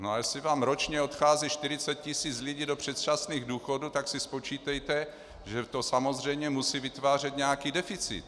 No a jestli vám ročně odchází 40 tisíc lidí do předčasných důchodů, tak si spočítejte, že to samozřejmě musí vytvářet nějaký deficit.